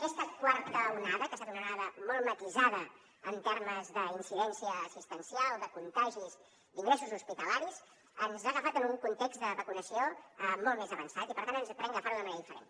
aquesta quarta onada que ha estat una onada molt matisada en termes d’incidència assistencial de contagis d’ingressos hospitalaris ens ha agafat en un context de vacunació molt més avançat i per tant podem agafar ho de manera diferent